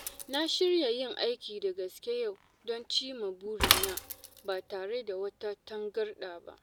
Na shirya yin aiki da gaske yau don cimma burina ba tare da wata tangarɗa ba.